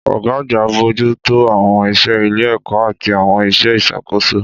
Ọ̀gá àgbà ń bójú tó àwọn iṣẹ́ ilé-ẹ̀kọ́ àti àwọn iṣẹ́ ìṣàkóso